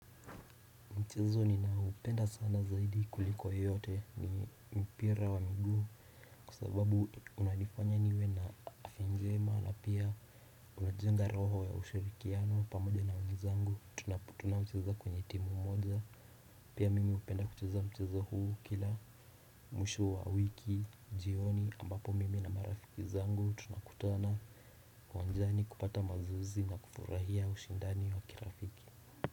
Mchezo ninao upenda sana zaidi kuliko yote ni mpira wa miguu. Kwasababu unanifanya niwe na afya njema na pia una jenga roho ya ushirikiano pamoja na wenzangu. Tunapu tunapo cheza kwenye timu moja pia mimi upenda ucheza ucheza huu kila mwisho wa wiki jioni ambapo mimi na marafiki zangu tunakutana uwanjani kupata mazoezi na kufurahia ushindani wa kirafiki.